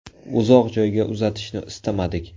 Uzoq joyga uzatishni istamadik.